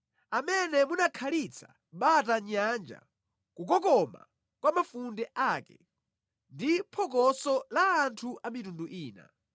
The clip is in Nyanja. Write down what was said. Amene munakhalitsa bata nyanja kukokoma kwa mafunde ake, ndi phokoso la anthu a mitundu ina.